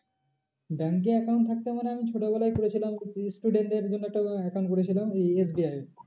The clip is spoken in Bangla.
Bank এর account থাকতে পারে আমি ছোটো বেলায় করেছিলাম student দের জন্য একটা account খুলেছিলাম এই SBI এ